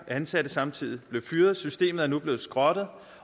ansatte samtidig blev fyret systemet er nu blevet skrottet